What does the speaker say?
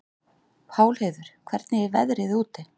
Pálheiður, hvernig er veðrið úti?